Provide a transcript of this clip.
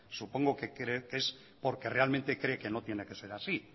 supongo que es porque realmente cree que no tiene que ser así